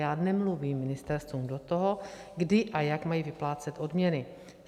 Já nemluvím ministerstvům do toho, kdy a jak mají vyplácet odměny.